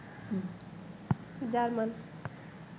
German